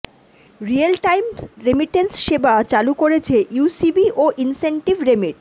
real time remittance সেবা চালু করেছে ইউসিবি ও ইনসেনটিভ রেমিট